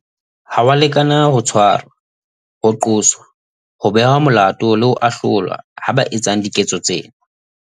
Ha ho a lekana ho tshwarwa, ho qoswa, ho behwa molato le ho ahlolwa ha ba etsang diketso tsena.